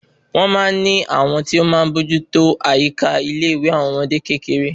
Wọn máa ní àwọn tí o máa bójú tó àyíká ilé ìwé àwọn ọmọdé kékeré